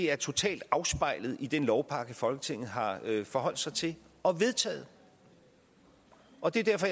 er totalt afspejlet i den lovpakke folketinget har forholdt sig til og vedtaget og det er derfor